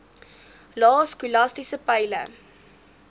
lae skolastiese peile